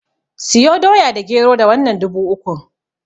Siyo Doya da Gero da wannan dubu ukun.